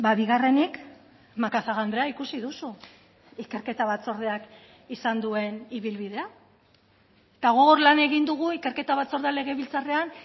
bigarrenik macazaga andrea ikusi duzu ikerketa batzordeak izan duen ibilbidea eta gogor lan egin dugu ikerketa batzordea legebiltzarrean